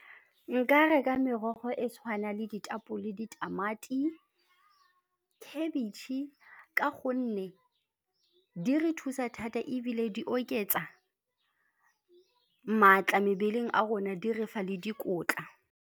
Nka reka merogo e tshwana le ditapole, ditamati, khebetšhe ka gonne di re thusa thata ebile di oketsa maatla mebeleng a rona, di re fa le dikotla.